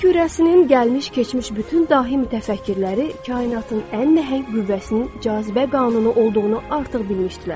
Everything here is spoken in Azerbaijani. Yer kürəsinin gəlmiş-keçmiş bütün dahi mütəfəkkirləri kainatın ən nəhəng qüvvəsinin cazibə qanunu olduğunu artıq bilmişdilər.